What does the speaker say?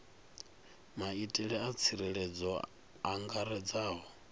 maitele a tsireledzo a angaredzaho